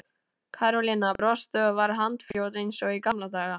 Karólína brosti og var handfljót eins og í gamla daga.